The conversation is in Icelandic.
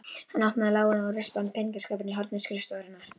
Hann opnaði lágan og rispaðan peningaskáp í horni skrifstofunnar.